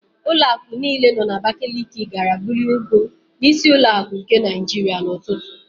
Ụlọakụ niile nọ n'Abakaliki gara buru ego n'Ísí ụlọakụ nke Naịjiria n'ụtụtụ.